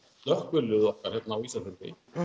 slökkviliðið okkar hér á Ísafirði